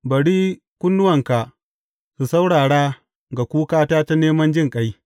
Bari kunnuwanka su saurara ga kukata ta neman jinƙai.